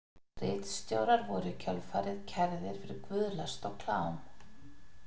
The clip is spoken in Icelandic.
Ritstjórar voru í kjölfarið kærðir fyrir guðlast og klám.